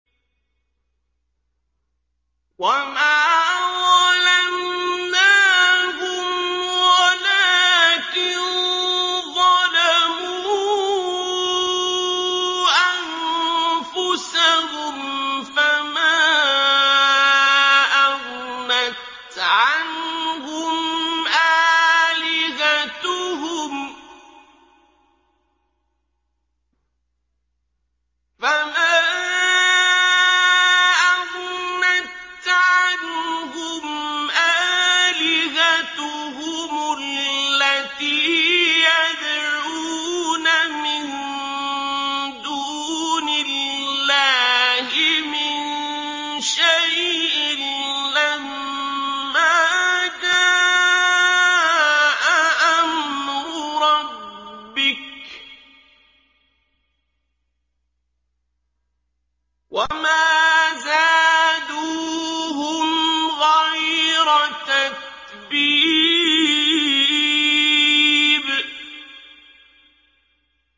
وَمَا ظَلَمْنَاهُمْ وَلَٰكِن ظَلَمُوا أَنفُسَهُمْ ۖ فَمَا أَغْنَتْ عَنْهُمْ آلِهَتُهُمُ الَّتِي يَدْعُونَ مِن دُونِ اللَّهِ مِن شَيْءٍ لَّمَّا جَاءَ أَمْرُ رَبِّكَ ۖ وَمَا زَادُوهُمْ غَيْرَ تَتْبِيبٍ